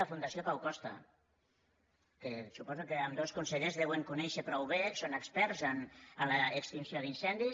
la fundació pau costa que suposo que ambdós consellers deuen conèixer prou bé són experts en l’extinció d’incendis